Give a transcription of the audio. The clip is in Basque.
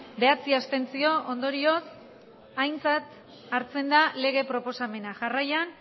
bederatzi abstentzio ondorioz aintzat hartzen da lege proposamena jarraian